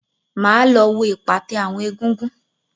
Mà á lọ wo ìpàtẹ àwọn egúngún.